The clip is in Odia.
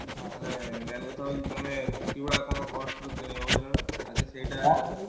ହଁ ମାନେ main କଥା ହଉଛି ତମେ କି ଗୁଡ଼ା କଣ cost ରେ କିଣିବ ବୁଝିଲନା ଆଗେ ସେଇଟା